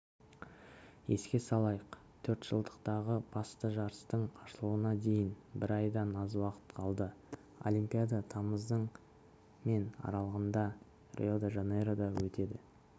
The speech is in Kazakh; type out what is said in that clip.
еске салайық төрт жылдықтағы басты жарыстың ашылуына дейін бір айдан аз уақыт қалды олимпиада тамыздың мен аралығында рио-де-жанейрода өтеді